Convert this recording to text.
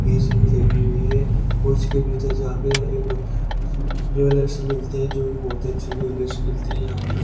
AC भी लगी हुई है और उसके भीतर जा के एक जो अलग से मिलते हैं जो कि बहुत अच्छे जो अलग से मिलते हैं यहां पर।